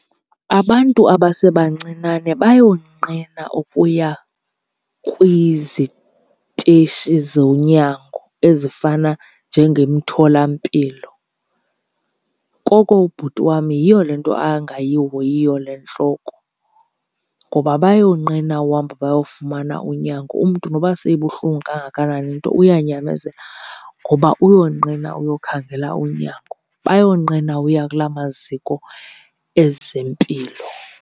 Abantu abasebancinane bayonqena ukuya kwizitishi zonyango ezifana njengemtholampilo koko ubhuti wam yiyo le nto angayihoyiyo le ntloko. Ngoba bayonqena uhamba bayofumana unyango, umntu noba seyibuhlungu kangakanani into uyanyamezela ngoba uyonqena uyokhangela unyango. Bayonqena uya kula maziko ezempilo.